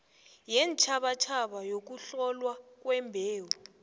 yeentjhabatjhaba yokuhlolwa kwembewu